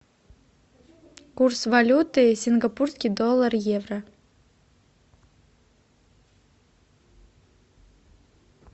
курс валюты сингапурский доллар евро